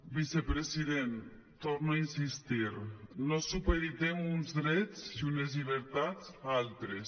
vicepresident hi torno a insistir no supeditem uns drets i unes llibertats a altres